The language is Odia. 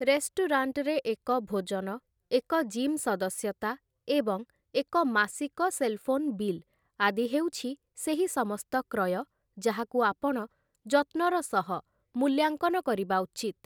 ରେଷ୍ଟୁରାଣ୍ଟରେ ଏକ ଭୋଜନ, ଏକ ଜିମ୍ ସଦସ୍ୟତା, ଏବଂ ଏକ ମାସିକ ସେଲ୍ ଫୋନ୍ ବିଲ୍ ଆଦି ହେଉଛି ସେହି ସମସ୍ତ କ୍ରୟ, ଯାହାକୁ ଆପଣ ଯତ୍ନର ସହ ମୂଲ୍ୟାଙ୍କନ କରିବା ଉଚିତ୍ ।